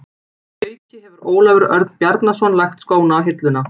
Að auki hefur Ólafur Örn Bjarnason lagt skóna á hilluna.